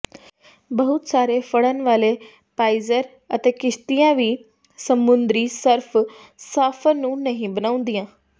ਬਹੁਤ ਸਾਰੇ ਫੜਨ ਵਾਲੇ ਪਾਇਜ਼ਰ ਅਤੇ ਕਿਸ਼ਤੀਆਂ ਵੀ ਸਮੁੰਦਰੀ ਸਰਫ ਸਾਫ਼ਰ ਨੂੰ ਨਹੀਂ ਬਣਾਉਂਦੀਆਂ